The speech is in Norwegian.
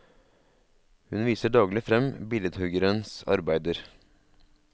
Hun viser daglig frem billedhuggerens arbeider.